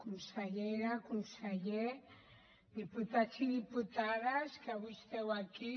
consellera conseller diputats i diputades que avui esteu aquí